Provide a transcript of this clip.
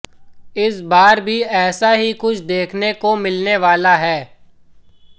इस बार भी ऐसा ही कुछ देखने को मिलने वाला है